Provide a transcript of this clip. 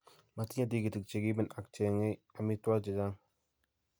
matinyei tigiitk che kiimen ak cheeng'ei amitwogik che chang'.